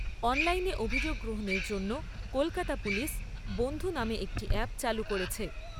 অনলাইনে অভিযোগ গ্রহণের জন্য কলকাতা পুলিশ বন্ধু' নামে একটি অ্যাপ চালু করেছে।